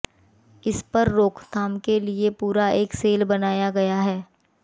इस पर रोकथाम के लिए पूरा एक सेल बनाया गया है